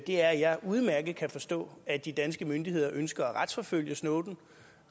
er at jeg udmærket kan forstå at de danske myndigheder ønsker at retsforfølge snowden